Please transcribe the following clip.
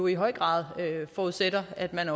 i høj grad forudsætter at man